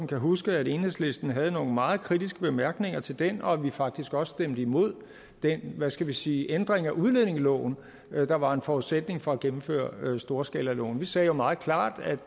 kan huske at enhedslisten havde nogle meget kritiske bemærkninger til den og at vi faktisk også stemte imod den hvad skal vi sige ændring af udlændingeloven der var en forudsætning for at gennemføre storskalaloven vi sagde jo meget klart at